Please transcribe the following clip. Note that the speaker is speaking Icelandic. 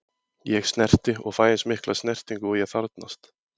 Ég snerti og fæ eins mikla snertingu og ég þarfnast.